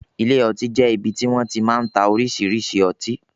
Ilé ọtí jẹ ibì ti wọn ti máa ń tá oríṣiríṣi ọtí